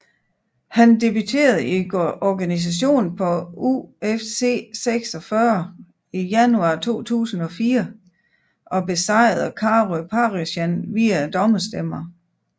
Han debuterede i organisationen på UFC 46 i januar 2004 og besejrede Karo Parisyan via dommerstemmerne